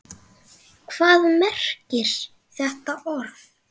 Hvað merkir þetta orð?